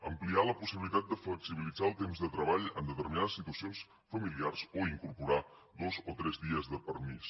ampliar la possibilitat de flexibilitzar el temps de treball en determinades situacions familiars o incorporar dos o tres dies de permís